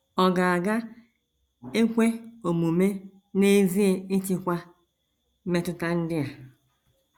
Ọ̀ ga ga - ekwe omume n’ezie ịchịkwa mmetụta ndị a?